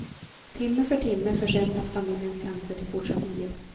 Timme för timme försämras familjens chanser till fortsatt liv.